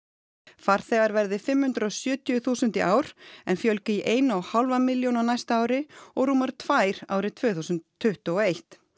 farþegar verði fimm hundruð og sjötíu þúsund í ár en fjölgi í eina og hálfa milljón á næsta ári og rúmar tvær árið tvö þúsund tuttugu og eitt